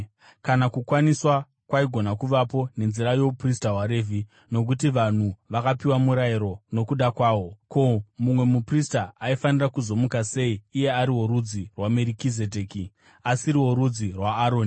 Kana kukwaniswa kwaigona kuvapo nenzira youprista hwaRevhi (nokuti vanhu vakapiwa murayiro nokuda kwahwo), ko, mumwe muprista aifanira kuzomuka sei, iye ari worudzi rwaMerikizedheki, asiri worudzi rwaAroni?